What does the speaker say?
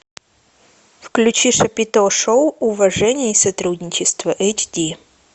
включи шапито шоу уважение и сотрудничество эйч ди